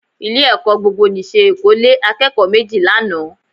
Ilé-ẹ̀kọ́ gbogbonìṣe Èkó lé akẹ́kọ̀ọ́ méjì lánàá